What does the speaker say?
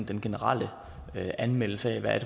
den generelle anmeldelse af hvad